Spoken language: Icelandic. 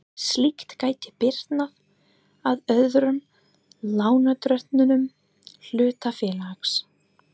Slíkt gæti bitnað á öðrum lánardrottnum hlutafélags.